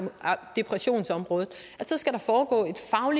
depressionsområdet så skal der foregå